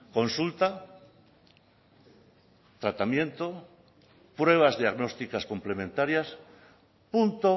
consulta tratamiento pruebas diagnósticas complementarias punto